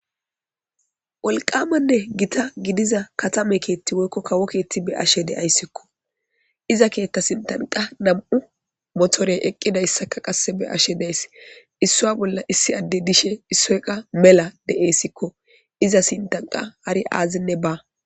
wolqamanne gita gidiza katame keetti woykko kawoketti be ashe deayssikko iza keetta sintanqa nam7u motorey eqqidayssaka qasse be ashe dees issua bolla issi adde dishe issoyqa mela deeyssikko iza sintanqa hari aazinne ba